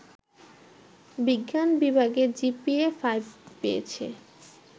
বিজ্ঞান বিভাগে জিপিএ-৫ পেয়েছে